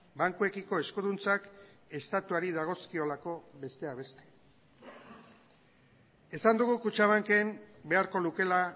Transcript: bankuekiko eskuduntzak estatuari dagozkiolako besteak beste esan dugu kutxabanken beharko lukeela